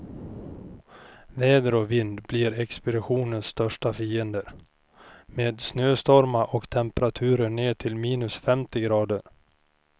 Väder och vind blir expeditionens största fiender, med snöstormar och temperaturer ner till minus femtio grader.